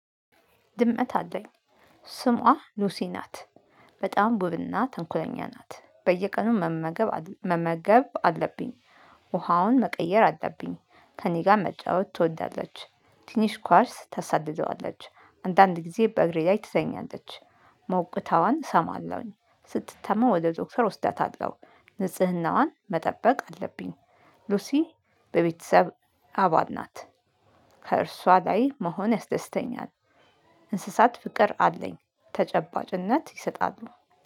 ድመት አለኝ ስሟ ሉሲ ናት። በጣም ውብና ተንኮለኛ ናት። በየቀኑ መመገብ አል መመገብ አለብኝ። ውሃዋን መቀየር አለብኝ። ከእኔ ጋር መጫወት ትወዳለች። ትንሽ ኳርስ ታሳድደዋለች። አንዳንድ ጊዜ በእግሬ ላይ ትረኛለች። ሞቅታዋን እሰማለሁኝ። ስትታማ ወደ ዶክተር ወስዳታለው። ንጽህናዋን መጠበቅ አለብኝ። ሉሲ በቤተሰብ አባል ናት። ከእርሷ ላይ መሆን ያስደስተኛል። እንስሳት ፍቅር አለኝ። ተጨባጭነት ይሰጣሉ።